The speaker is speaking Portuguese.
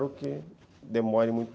que demore